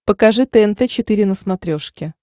покажи тнт четыре на смотрешке